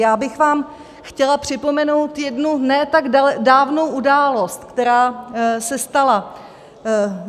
Já bych vám chtěla připomenout jednu ne tak dávnou událost, která se stala.